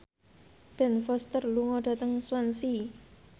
Ben Foster lunga dhateng Swansea